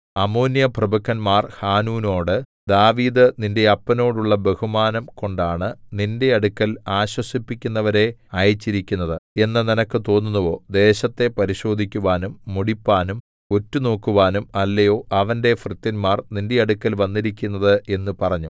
അമ്മോന്യപ്രഭുക്കന്മാർ ഹാനൂനോടു ദാവീദ് നിന്റെ അപ്പനോടുള്ള ബഹുമാനം കൊണ്ടാണ് നിന്റെ അടുക്കൽ ആശ്വസിപ്പിക്കുന്നവരെ അയച്ചിരിക്കുന്നത് എന്ന് നിനക്ക് തോന്നുന്നുവോ ദേശത്തെ പരിശോധിക്കുവാനും മുടിപ്പാനും ഒറ്റുനോക്കുവാനും അല്ലയോ അവന്റെ ഭൃത്യന്മാർ നിന്റെ അടുക്കൽ വന്നിരിക്കുന്നത് എന്നു പറഞ്ഞു